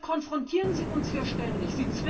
Womit konfrontieren Sie uns hier ständig?